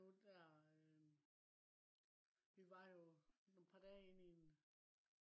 nu der øh. vi var jo et par dage inde i en